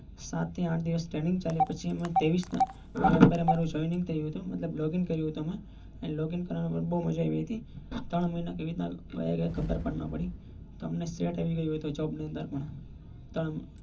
સાત થી આઠ દિવસ trening ચાલી પસી અમે login કરીં હતું. login કરવા માં બાઉ જ મઝા આવી હતી. ત્રણ મહિના કઈ રીતે વાયી ગયા ખબર પણ ના પડી. અમને set આવિ ગયું હતું job ની અંદર પણ.